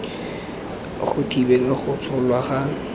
go thibela go tsholwa ga